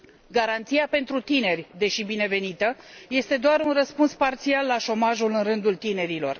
Garanția pentru tineri, deși binevenită, este doar un răspuns parțial la șomajul în rândul tinerilor.